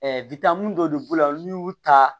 dɔ de b'o la n'u y'u ta